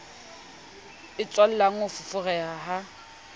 e tswalang ho foforeha ha